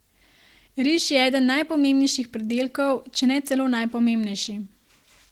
Riž je eden najpomembnejših pridelkov, če ne celo najpomembnejši.